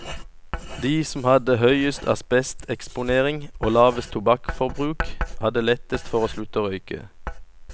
De som hadde høyest asbesteksponering og lavest tobakksforbruk, hadde lettest for å slutte å røyke.